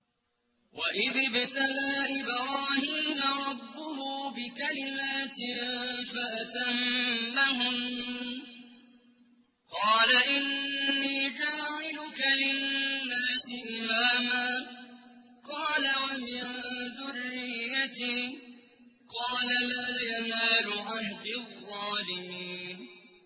۞ وَإِذِ ابْتَلَىٰ إِبْرَاهِيمَ رَبُّهُ بِكَلِمَاتٍ فَأَتَمَّهُنَّ ۖ قَالَ إِنِّي جَاعِلُكَ لِلنَّاسِ إِمَامًا ۖ قَالَ وَمِن ذُرِّيَّتِي ۖ قَالَ لَا يَنَالُ عَهْدِي الظَّالِمِينَ